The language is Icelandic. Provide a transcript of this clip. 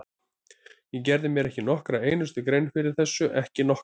Ég gerði mér ekki nokkra einustu grein fyrir þessu, ekki nokkra!